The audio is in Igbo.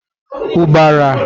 ubara